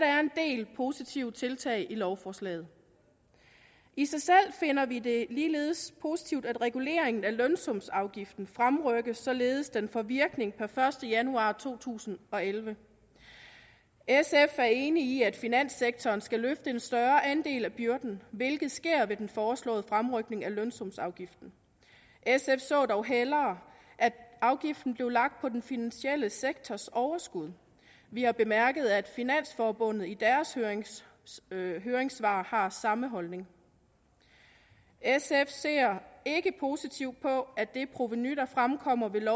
er en del positive tiltag i lovforslaget i sig selv finder vi det ligeledes positivt at reguleringen af lønsumsafgiften fremrykkes således at den får virkning per første januar to tusind og elleve sf er enig i at finanssektoren skal løfte en større andel af byrden hvilket sker ved den foreslåede fremrykning af lønsumsafgiften sf så dog hellere at afgiften blev lagt på den finansielle sektors overskud vi har bemærket at finansforbundet i deres høringssvar har samme holdning sf ser ikke positivt på at det provenu der fremkommer ved